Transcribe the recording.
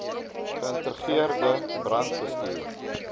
ge ïntegreerde brandbestuur